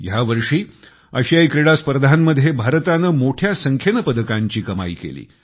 ह्या वर्षी आशियाई क्रीडा स्पर्धांमध्ये भारताने मोठ्या संख्येने पदकांची कमाई केली